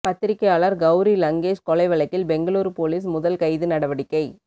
பத்திரிகையாளர் கவுரி லங்கேஷ் கொலை வழக்கில் பெங்களூரு போலீஸ் முதல் கைது நடவடிக்கை